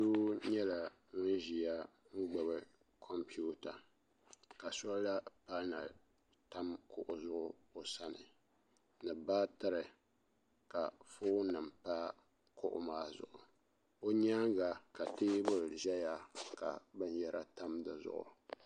do nyɛla ŋɔ ʒɛya m gbabi kom pɛyuwata ka sola pana tam kuɣ' zuɣ' o sani ni baatɛri ka ƒɔnim pa kuɣ' maa zuɣ' o nyɛŋa ka tɛbuli ʒɛya ka bɛn yara tam di zuɣ'